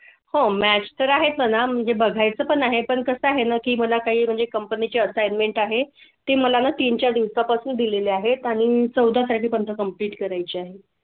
हो match आहे पण म्हणजे बघाय चं पण आहे पण कसं आहे ना की मला काही म्हणजे company चे Assignments आहे ते मला तीन चार दिवसापासून दिलेले आहेत आणि चौदा साठी complete करायची आहे